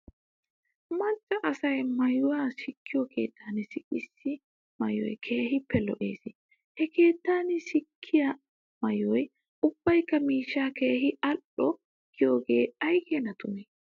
Macca asaa maayuwaa sikkiyoo keettan sikettiyaa maayoy keehippe lo'es. He keettan sikettiyaa maayoy ubbaykka mishshaa keehi al"o giyoogee aykeena tumee?